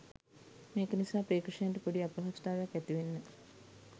මේක නිසා ප්‍රේක්ෂකයන්ට පොඩි අපහසුතාවයක් ඇතිවෙන්න